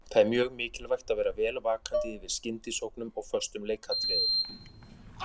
Það er mjög mikilvægt að vera vel vakandi yfir skyndisóknum og föstum leikatriðum.